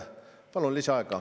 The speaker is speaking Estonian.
Palun lisaaega.